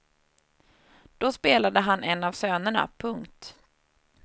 Då spelade han en av sönerna. punkt